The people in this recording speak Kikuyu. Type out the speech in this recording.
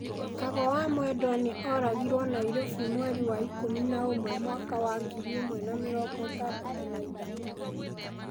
Kago wa Mwendwa nĩ oragirũo Nairobi mweri wa ikũmi na ũmwe, mwaka wa ngiri ĩmwe na mĩrongo ĩtandatũ na ithatũ.